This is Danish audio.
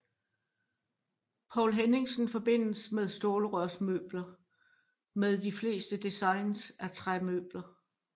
Poul Henningsen forbindes med stålrørsmøbler med de fleste design er træmøbler